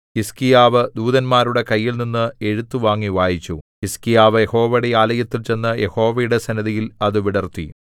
ഹിസ്കീയാവ് ദൂതന്മാരുടെ കൈയിൽനിന്ന് എഴുത്തു വാങ്ങി വായിച്ചു ഹിസ്കീയാവ് യഹോവയുടെ ആലയത്തിൽ ചെന്നു യഹോവയുടെ സന്നിധിയിൽ അത് വിടർത്തി